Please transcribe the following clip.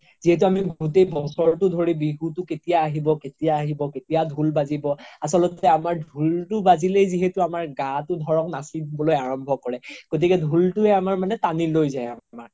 যিহেতু আমি গোতেই বছৰতো ধৰি বিহুতো কেতিয়া আহিব কেতিয়া আহিব কেতিয়া ধুল বাজিব আচলতে আমাৰ ধুলতো বাজিলেই যিহেতু আমাৰ গাতো ধৰক নাচিবলৈ আৰাম্ৱ্য কৰে গ্তিকে ধুলতো আমাৰ মানে তানি লৈ যাই আমাক